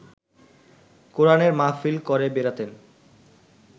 কোরানের মাহফিল করে বেড়াতেন